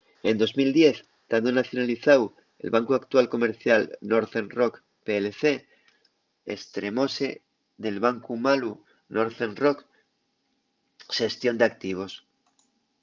en 2010 tando nacionalizáu l’actual bancu comercial northern rock plc estremóse del bancu malu” northern rock xestión d’activos